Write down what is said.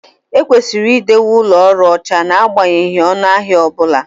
Ekwesịrị idowe ụlọ ọrụ ọcha n'agbanyeghị ọnụ ahịa ọ bụla